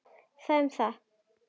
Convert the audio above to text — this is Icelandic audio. Það um það.